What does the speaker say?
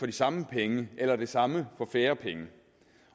de samme penge eller det samme for færre penge